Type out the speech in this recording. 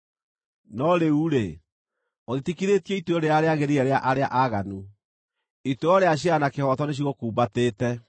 No rĩu-rĩ, ũtitikithĩtio ituĩro rĩrĩa rĩagĩrĩire arĩa aaganu; ituĩro rĩa ciira na kĩhooto nĩcigũkumbatĩte.